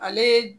Ale